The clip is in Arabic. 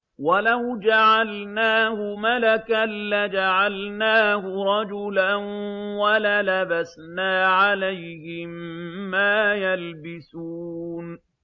وَلَوْ جَعَلْنَاهُ مَلَكًا لَّجَعَلْنَاهُ رَجُلًا وَلَلَبَسْنَا عَلَيْهِم مَّا يَلْبِسُونَ